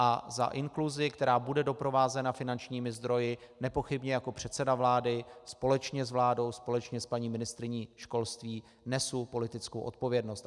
A za inkluzi, která bude doprovázena finančními zdroji, nepochybně jako předseda vlády společně s vládou, společně s paní ministryní školství, nesu politickou odpovědnost.